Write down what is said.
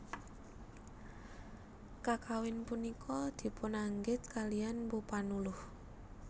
Kakawin punika dipunanggit kaliyan Mpu Panuluh